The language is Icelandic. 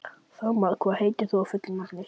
Þormar, hvað heitir þú fullu nafni?